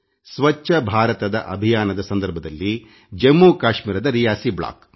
ಸ್ವಚ್ಛ ಭಾರತದ ಅಭಿಯಾನದ ಸಂದರ್ಭದಲ್ಲಿ ಜಮ್ಮುಕಾಶ್ಮೀರದರಿಯಾಸಿ ಬ್ಲಾಕ್